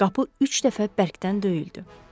Qapı üç dəfə bərkdən döyüldü.